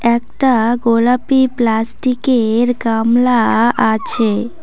একটা গোলাপি প্লাস্টিক -এর গামলা আছে।